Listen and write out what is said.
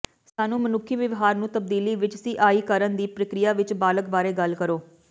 ਸਾਨੂੰ ਮਨੁੱਖੀ ਵਿਵਹਾਰ ਨੂੰ ਤਬਦੀਲੀ ਵਿੱਚ ਸਿਾਿੀਕਰਨ ਦੀ ਪ੍ਰਕਿਰਿਆ ਵਿਚ ਬਾਲਗ ਬਾਰੇ ਗੱਲ ਕਰੋ